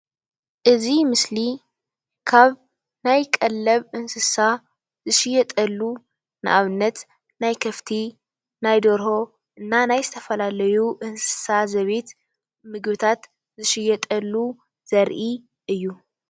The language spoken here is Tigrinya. እዚ ምስሊ ካብ ናይ ቀለብ እንስሳ ዝሽየጠሉ ንኣብነት ናይ ከፍቲ፣ ናይ ደርሆ፣ ናይ ዝተፈላለዩ እንስሳ ዘቤት ምግብታት ዝሽየጠሉ ዘርኢ እዩ።